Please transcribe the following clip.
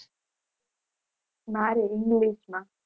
મારે ઇંગ્લિશમાં.